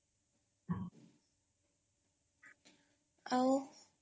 ଆଉ?